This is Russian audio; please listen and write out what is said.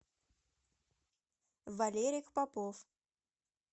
валерий попов